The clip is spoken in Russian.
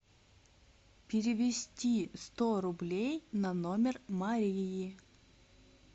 перевести сто рублей на номер марии